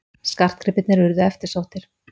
Skartgripirnir urðu eftirsóttir.